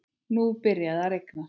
Nú byrjaði að rigna.